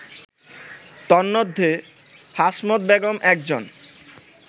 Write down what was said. তন্মধ্যে হাশমত বেগম একজন